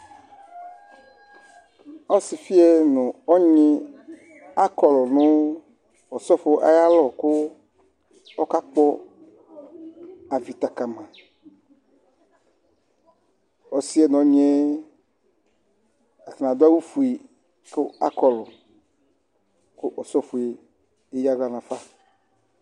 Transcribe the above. Ɔsifi yɛ nʋ ɔnyi akɔlu nʋ osɔfo ayʋ alɔ kʋ ɔsɔfo ɔkakpɔ avita kama Ɔsi yɛ nʋ ɔnyi adu awu fʋe kʋ akɔlu kʋ ɔsɔfo yɛ eya aɣla nʋ afa